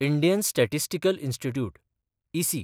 Indian Statistical Institute (इसी)